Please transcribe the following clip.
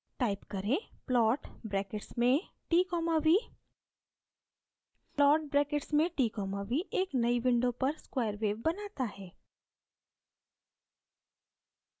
type करें: plot brackets में t v plot brackets में t v एक नई window पर square wave बनाता है